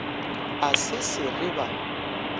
a se se re ba